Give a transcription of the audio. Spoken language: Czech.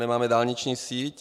Nemáme dálniční síť.